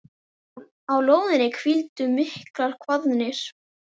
Á lóðinni hvíldu miklar kvaðir.